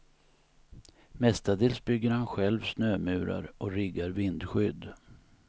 Mestadels bygger han själv snömurar och riggar vindskydd.